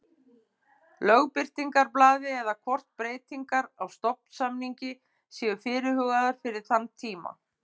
Lögbirtingablaði eða hvort breytingar á stofnsamningi séu fyrirhugaðar fyrir þann tíma.